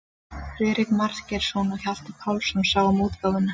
Friðrik Margeirsson og Hjalti Pálsson sáu um útgáfuna.